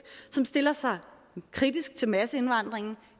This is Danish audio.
som stiller sig kritisk til masseindvandringen